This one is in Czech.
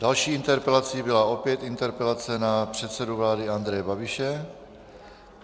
Další interpelací byla opět interpelace na předsedu vlády Andreje Babiše.